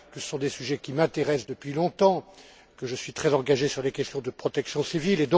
Ce sont des sujets qui m'intéressent depuis longtemps, et je suis très engagé sur les questions de protection civile.